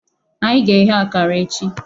Anyị ga-eghe akara echi.